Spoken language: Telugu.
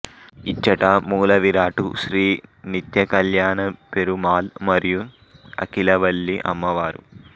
ఇచ్చటి మూలవిరాట్టు శ్రీ నిత్య కల్యాణ పెరుమాళ్ మరియు అఖిలవల్లి అమ్మవారు